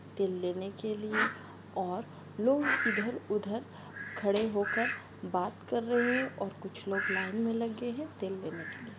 तेल लेने के लिए और लोग इधर उधर खड़े होकर बात कर रहे है और कुछ लोग लाइन में लगे है तेल लेने के लिए--